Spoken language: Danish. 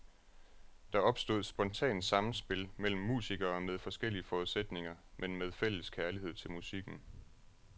Der opstod spontant sammenspil mellem musikere med forskellige forudsætninger, men med fælles kærlighed til musikken.